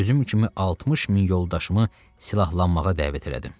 Özüm kimi 60 min yoldaşımı silahlanmağa dəvət elədim.